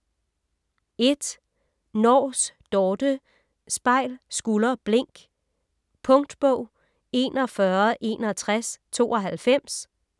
Nors, Dorthe: Spejl, skulder, blink Punktbog 416192